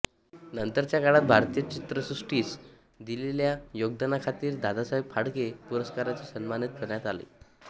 नंतरच्या काळात भारतीय चित्रसृष्टीस दिलेल्या योगदानाखातीर दादासाहेब फाळके पुरस्काराने सन्मानित करण्यात आले